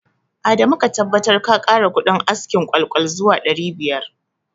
Adamu ka tabbatar ka kara kudin askin ƙwal-ƙwal zuwa ɗari biyar